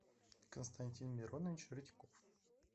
константин миронович редьков